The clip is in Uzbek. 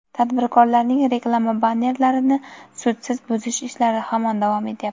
tadbirkorlarning reklama bannerlarini sudsiz buzish ishlari hamon davom etyapti.